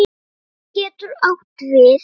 Fit getur átt við